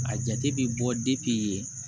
A jate bi bɔ